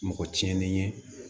Mɔgɔ tiɲɛnen ye